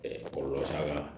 kɔlɔlɔ t'a la